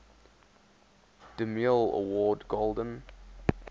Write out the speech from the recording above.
demille award golden